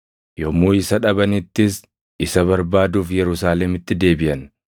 Yommuu isa dhabanittis, isa barbaaduuf Yerusaalemitti deebiʼan.